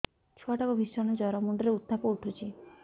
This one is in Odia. ଛୁଆ ଟା କୁ ଭିଷଣ ଜର ମୁଣ୍ଡ ରେ ଉତ୍ତାପ ଉଠୁଛି